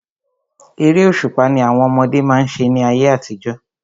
Eré òṣùpá ni àwọn ọmọdé má ń ṣe ní ayé àtijọ́.